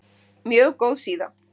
Mjög góð síða.